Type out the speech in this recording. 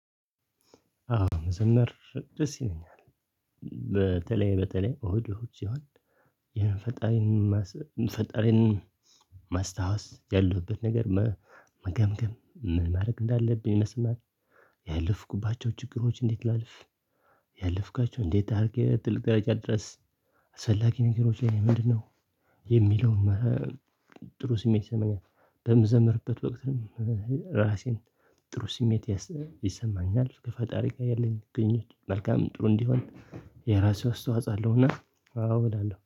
አዎ መዘመር ደስ ይለኛል። በተለይ በተለይ ኦዲዎች ሲሆን። ይሄን ፈጣሪን ማስታወስ ያለበት ነገር መገምገም ማድረግ እንዳለብኝ መስማት። ያለፍኩባቸው ችግሮች እንዴት ላልፍ? ያለፍካቸው እንዴት አድርጌ ትልቅ ቀረጫ ድረስ። ዘላቂ ነገሮች ላይ ምንድነው? የሚለውን ጥሩ ስሜት ይሰማኛል። በምዘምርበት ወቅትም ራሴን ጥሩ ስሜት ይሰማኛል። ከፈጣሪ ጋር ያለኝ ግንኙነት መልካም ጥሩ እንዲሆን የራሴው አስተዋጽአለሁና። አዎ እላለሁ